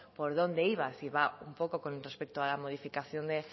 por dónde iba si va un poco con respecto a la modificación de